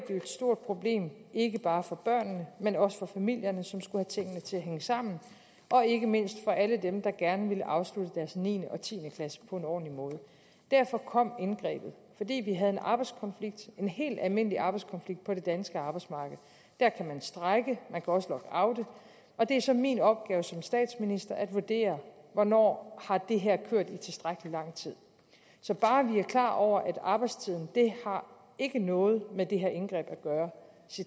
et stort problem ikke bare for børnene men også for familierne som skulle have tingene til at hænge sammen og ikke mindst for alle dem der gerne ville afslutte deres niende og tiende klasse på en ordentlig måde derfor kom indgrebet fordi vi havde en arbejdskonflikt en helt almindelig arbejdskonflikt på det danske arbejdsmarked der kan man strejke man kan også lockoute og det er så min opgave som statsminister at vurdere hvornår har det her kørt i tilstrækkelig lang tid så bare vi er klar over at arbejdstiden det har ikke noget med det her indgreb at gøre